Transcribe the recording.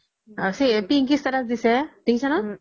Pinky status দিছে দেখিছা ন